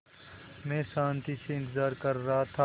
मैं शान्ति से इंतज़ार कर रहा था